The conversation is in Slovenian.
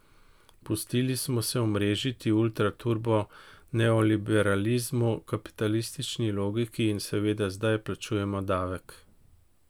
Pustili smo se omrežiti ultra turbo neoliberalizmu, kapitalistični logiki, in seveda zdaj plačujemo davek.